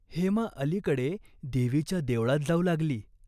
हेमा अलीकडे देवीच्या देवळात जाऊ लागली.